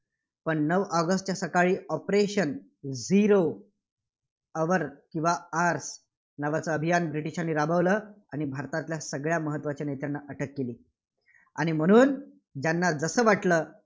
पण नऊ ऑगस्टच्या सकाळी operation zero hour किंवा hours नावाचं अभियान ब्रिटिशांनी राबवलं आणि भारतातल्या सगळ्या महत्त्वाच्या नेत्यांना अटक केली. आणि म्हणून ज्यांना जसं वाटलं